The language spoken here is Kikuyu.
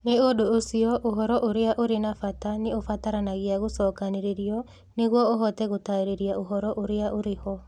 Nĩ ũndũ ũcio, ũhoro ũrĩa ũrĩ na bata nĩ ũbataranagia gũcokanĩrĩrio nĩguo ũhote gũtaarĩria ũhoro ũrĩa ũrĩ ho.